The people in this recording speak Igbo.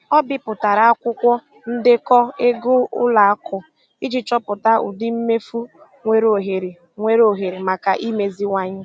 O bipụtara akwụkwọ ndekọ ego ụlọ akụ iji chọpụta ụdị mmefu nwere ohere nwere ohere maka imeziwanye.